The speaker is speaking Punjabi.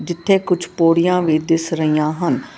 ਇਥੇ ਕੁਛ ਪੌੜੀਆਂ ਵੀ ਦਿਸ ਰਹੀਆਂ ਹਨ।